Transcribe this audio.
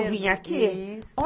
De eu vir aqui?